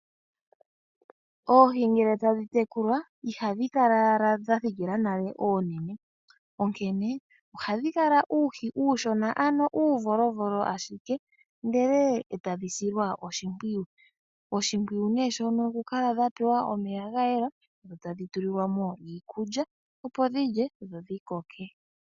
Oohi ngele tadhi tekulwa ihadhi kala owala dha thikila oonene, onkene ohadhi kala uuhi uushona ano uuvolovolo ashike ndele tadhi silwa oshimpwiyu. Oshimpwiyu ne shono okukala dha pewa omeya ga yela, tadhi tulilwa mo iikulya opo dhi lye dho dhi koke.